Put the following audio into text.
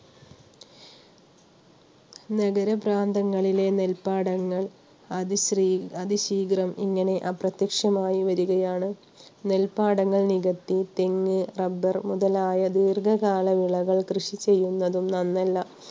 നഗര പ്രാന്തങ്ങളിലെ നെൽപ്പാടങ്ങൾ അതിശയ~അതിശീഘ്രം ഇങ്ങനെ അപ്രത്യക്ഷമായി വരികയാണ്. നെൽപ്പാടങ്ങൾ നികത്തി തെങ്ങ്, റബ്ബർ മുതലായ ദീർഘകാലവിളകൾ കൃഷി ചെയ്യുന്നത് നന്നല്ല.